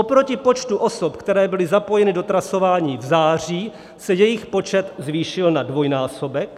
Oproti počtu osob, které byly zapojeny do trasování v září, se jejich počet zvýšil na dvojnásobek.